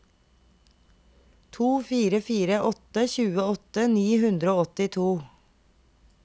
to fire fire åtte tjueåtte ni hundre og åttito